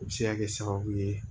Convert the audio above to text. O bɛ se ka kɛ sababu ye